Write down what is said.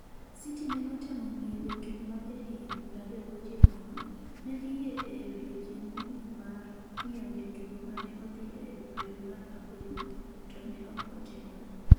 City ne otemo ng’iewo jatugo ma jahigni 29 no, ne giyie e odiechieng’ mogik mar ng’iewo jatugo ma ne odhi e dwe mar aboro, to ne ok otimre.